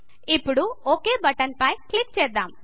ఇప్పుడు ఒక్ బటన్ పై క్లిక్ చేద్దాం